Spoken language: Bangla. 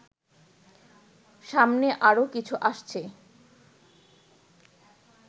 সামনে আরো কিছু আসছে